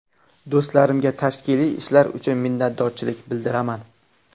Do‘stlarimga tashkiliy ishlar uchun minnatdorchilik bildiraman.